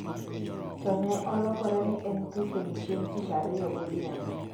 to ne olokore ni en thuthni chieng' tich ariyo godhiambo.